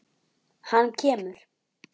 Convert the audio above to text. Hann kemur.